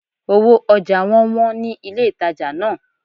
Owó ojà won wón ni ilé ìtajà náà